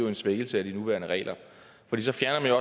en svækkelse af de nuværende regler for så fjerner